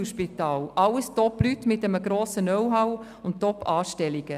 Es sind alles hervorragende Leute mit einem grossen Know-how und Top-Anstellungen.